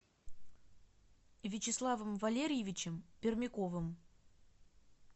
вячеславом валериевичем пермяковым